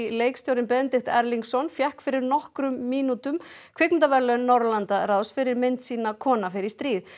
leikstjórinn Benedikt Erlingsson fékk fyrir nokkrum mínútum Kvikmyndaverðlaun Norðurlandaráðs fyrir mynd sína kona fer í stríð